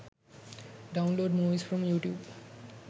download movies from youtube